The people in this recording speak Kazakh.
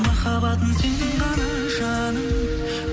махаббатым сен ғана жаным